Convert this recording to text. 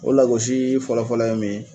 O lagosii fɔlɔfɔlɔ ye min ye